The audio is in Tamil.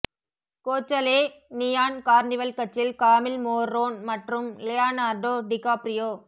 கோச்சலே நியான் கார்னிவல் கட்சியில் காமில் மோர்ரோன் மற்றும் லியோனார்டோ டிகாப்ரியோ